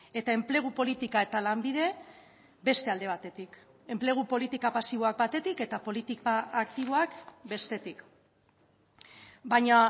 eta enplegu politika eta lanbide beste alde batetik enplegu politika pasiboak batetik eta politika aktiboak bestetik baina